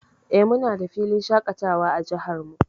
Eh, muna da filin shaƙatawa a jihar mu.